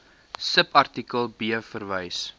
subartikel b verwys